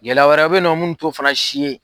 Gɛlɛya wɛrɛw bɛ ye nɔ minnu t'o fana si ye.